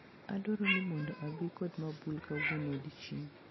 Adwaro ni mondo abi kod mabul kawuono odiechieng'